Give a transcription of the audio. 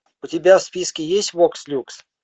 у тебя в списке есть вокс люкс